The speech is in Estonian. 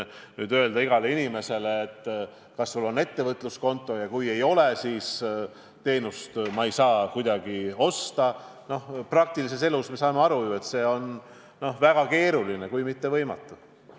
Aga küsida igalt inimeselt, kas sul on ettevõtluskonto, ja kui ei ole, siis teenust ei saa kuidagi osta – noh, praktilises elus me saame ju aru, et see on väga keeruline, kui mitte võimatu.